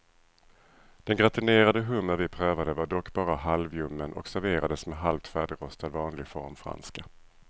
Den gratinerade hummer vi prövade var dock bara halvljummen och serverades med halvt färdigrostad vanlig formfranska.